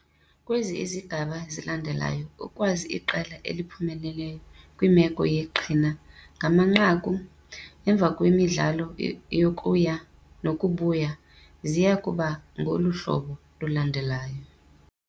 Kwezi izigaba zilandelayo ukwazi iqela eliphumeleleyo kwimeko yeqhina ngamanqaku, emva kwemidlalo yokuya nokubuya, ziya kuba ngolu hlobo lulandelayo.